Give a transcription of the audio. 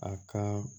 A ka